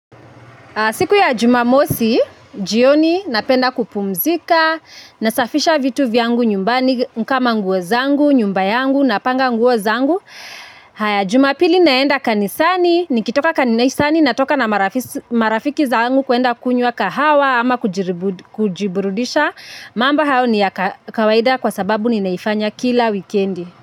Siku ya jumamosi jioni napenda kupumzika nasafisha vitu vyangu nyumbani kama nguo zangu nyumba yangu napanga nguo zangu. Haya jumapili naenda kanisani, nikitoka kanisani, natoka na marafiki zangu kuenda kunywa kahawa ama kujiburudisha. Mamba hayo ni ya kawaida kwa sababu ninaifanya kila wikendi.